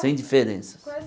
Sem diferenças.